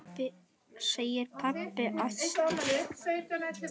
segir pabbi æstur.